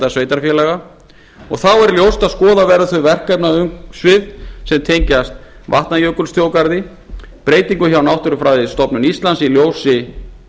sveitarfélaga þá er ljóst að skoða verður þau verkefnaumsvif sem tengjast vatnajökulsþjóðgarði breytingum hjá náttúrufræðistofnun íslands í ljósi